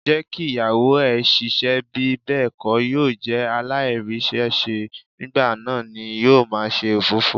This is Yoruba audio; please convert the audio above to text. Jẹ́ kí Ìyàwó ẹ ṣiṣẹ́, bí bẹ́ẹ̀ kó yóò jẹ́ aláìríṣẹ́ṣe, nígbà náà ni yóò máa ṣe òfófó.